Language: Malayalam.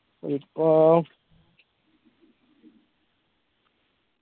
ഇപ്പൊ